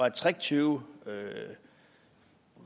at tricktyve